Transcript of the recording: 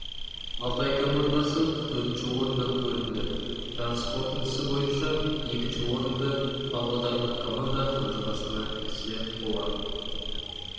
алтай командасы төртінші орыннан көрінді жарыс қорытындысы бойынша екінші орынды павлодарлық команда қанжығасына ілсе қола